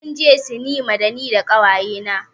Zamu je sinima da ni da ƙawaye na.